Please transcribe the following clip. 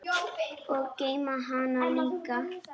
Og geyma hana líka.